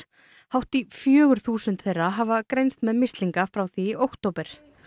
hátt í fjögur þúsund þeirra hafa greinst með mislinga frá því í október